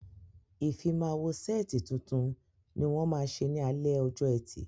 Ìfimáwo sẹ́ẹ̀tì tuntun ni wọ́n ma ṣe ní alẹ́ ọjọ́ ẹtì